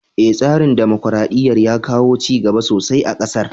Eh, tsarin dimokuraɗɗiyar ya kawo cigaba sosai a ƙasar.